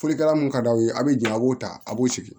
Folikɛla mun ka d'aw ye a bɛ jɛn a b'o ta a b'o sigi